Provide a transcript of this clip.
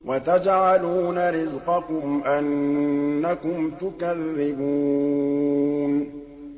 وَتَجْعَلُونَ رِزْقَكُمْ أَنَّكُمْ تُكَذِّبُونَ